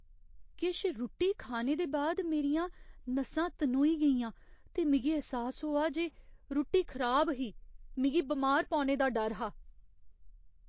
किश रुट्टी खाने दे बाद मेरियां नसां तनोई गेइयां ते मिगी ऐह्सास होआ जे रुट्टी खराब ही। मिगी बमार पौने दा डर हा।